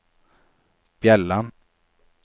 Bjelland